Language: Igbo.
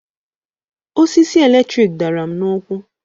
Osisi eletrik dara m n'ụkwụ